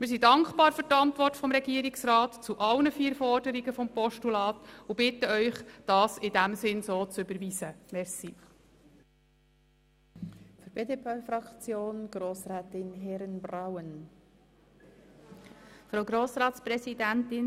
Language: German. Wir sind für die Antwort des Regierungsrats zu allen vier Forderungen des Postulats dankbar und bitten Sie, dieses entsprechend zu überweisen.